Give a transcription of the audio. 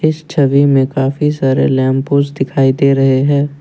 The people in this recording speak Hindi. इस छवि में काफी सारे लैंप पोस्ट दिखाई दे रहे हैं।